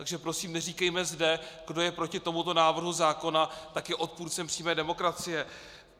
Takže prosím, neříkejme zde, kdo je proti tomuto návrhu zákona, tak je odpůrcem přímé demokracie.